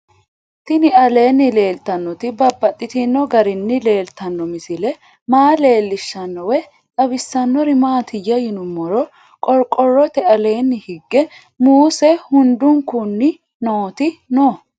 Tinni aleenni leelittannotti babaxxittinno garinni leelittanno misile maa leelishshanno woy xawisannori maattiya yinummoro qoriqorotte aleenni higge muusse hundunkunni nootti noo